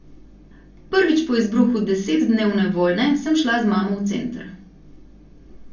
Prvič po izbruhu desetdnevne vojne sem šla z mamo v center.